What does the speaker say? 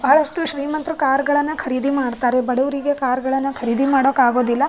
ಬಹಳಷ್ಟು ಶ್ರೀಮಂತ್ರು ಕಾರ್ ಗಳನ್ನ ಖರೀದಿ ಮಾಡ್ತಾರೆ ಬಡವ್ರಿಗೆ ಕಾರ್ ಗಳನ್ನ ಖರೀದಿ ಮಾಡಕ್ಕಾಗೋದಿಲ್ಲ.